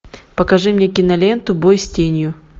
покажи мне киноленту бой с тенью